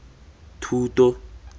thuto